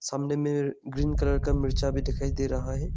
सामने में green colour का मिर्चा भी दिखाई दे रहा है।